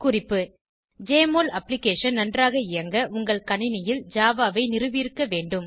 குறிப்பு JMOL application நன்றாக இயங்க உங்கள் கணினியில் ஜாவா ஐ நிறுவியிருக்க வேண்டும்